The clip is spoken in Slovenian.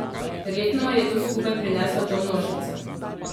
Verjetno je to skupaj prineslo to množico.